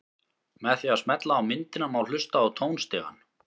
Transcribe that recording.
Með því að smella á myndina má hlusta á tónstigann.